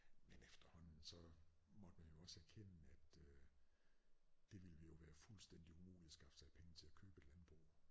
Men efterhånden så måtte man jo også erkende at øh det ville jo være fuldstændig umuligt at skaffe sig penge til at købe et landbrug